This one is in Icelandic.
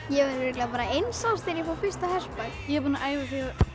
ég var bara eins árs þegar ég fór fyrst á hestbak ég er búin að æfa